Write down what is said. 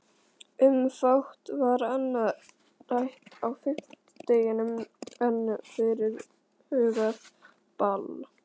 Um fátt var annað rætt á fimmtudeginum en fyrirhugað ball.